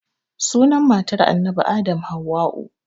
Sunan matar annabi adam hauwa'u